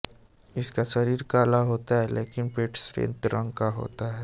इनका शरीर काला होता है लेकिन पेट श्वेत रंग का होता है